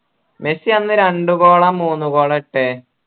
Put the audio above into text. Messi അന്ന് രണ്ട് goal ആ മൂന്ന് goal ആ ഇട്ടേ